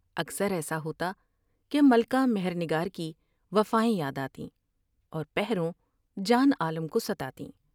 اکثر ایسا ہوتا کہ ملکہ مہر نگار کی وفائیں یاد آ تیں اور پہروں جان عالم کوستا تیں ۔